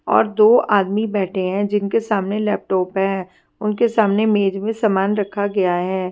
और दो आदमी बैठे है जिनके सामने लैपटॉप है उनके सामने मेज मे समान रखा गया है।